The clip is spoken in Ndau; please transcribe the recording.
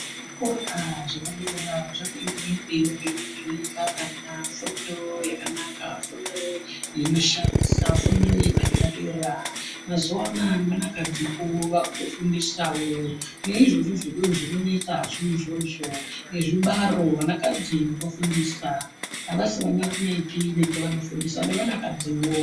Zvikora zvepadera, zviri kuenderera mberi zveipa vana fundo yakanaka, fundo inoshamisa, fundo yepadera-dera. Mazuwa anaa, nevanakadziwo vaakutofundisawo, ne izvozvo zvinonesazvo izvozvo, nazvibaro vanakadzi vofundisa. Avasi vanarumepi vega vanofundisa, nevanakadziwo.